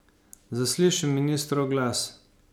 Zaslišim ministrov glas.